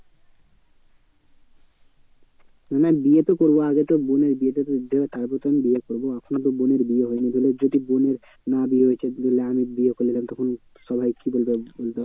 না বিয়ে তো করবো আগে তো বোনের বিয়েটা তো দিতে হবে তারপর তো আমি বিয়ে করবো। এখনো তো বোনের বিয়ে হয়নি তাহলে যদি বোনের না বিয়ে হয়েছে তাহলে আমি বিয়ে করলে তাহলে তখন সবাই কি বলবে, বলবে